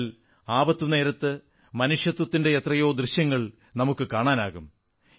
എന്നാൽ ആപത്ത് നേരത്ത് മനുഷ്യത്വത്തിന്റെ എത്രയോ ദൃശ്യങ്ങൾ നമുക്കു കാണാനാകും